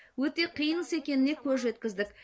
өте қиын іс екеніне көз жеткіздік